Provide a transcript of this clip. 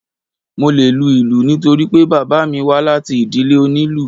Mo le lu ìlù nítorí pé bàbá mi wá láti ìdílé oní ìlù.